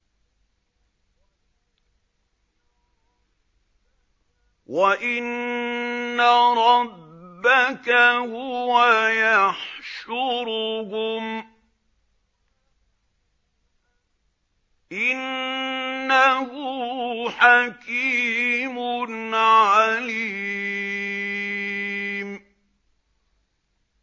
وَإِنَّ رَبَّكَ هُوَ يَحْشُرُهُمْ ۚ إِنَّهُ حَكِيمٌ عَلِيمٌ